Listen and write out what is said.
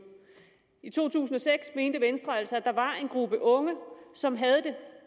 i to tusind og seks mente venstre altså at der var en gruppe unge som havde det